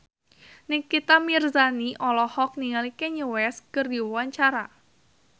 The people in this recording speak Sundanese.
Nikita Mirzani olohok ningali Kanye West keur diwawancara